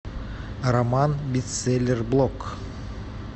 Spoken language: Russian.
роман бестселлер блок